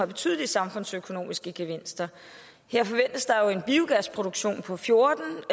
betydelige samfundsøkonomiske gevinster her forventes der jo en biogasproduktion på fjorten